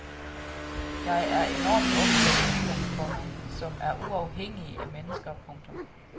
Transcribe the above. Jeg er enormt optaget af dyr, komma som er uafhængige af mennesker. punktum